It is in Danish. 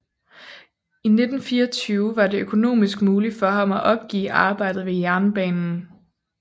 I 1924 var det økonomisk muligt for ham at opgive arbejdet ved jernbanen